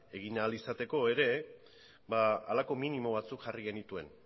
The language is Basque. egin ahal izateko ere halako minimo batzuk jarri genituen